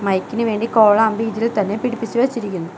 മൈക്കിന് വേണ്ടി കോളാമ്പി ഇതിൽ തന്നെ പിടിപ്പിച്ചു വെച്ചിരിക്കുന്നു.